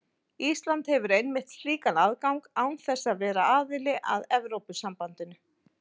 Ísland hefur einmitt slíkan aðgang án þess að vera aðili að Evrópusambandinu.